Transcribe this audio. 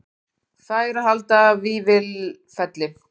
Fær að halda Vífilfelli